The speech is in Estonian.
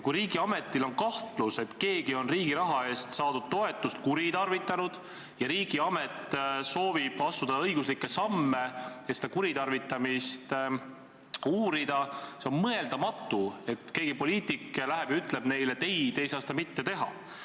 Kui riigiametil on kahtlus, et keegi on riigi raha eest saadud toetust kuritarvitanud, ja riigiamet soovib astuda õiguslikke samme, et seda kuritarvitamist uurida, siis on mõeldamatu, et keegi poliitik läheb ja ütleb neile, et ei, te ei saa seda teha.